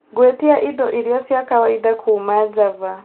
gwĩtia indo iria ciakwaida kuuma Java